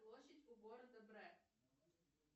площадь у города брэк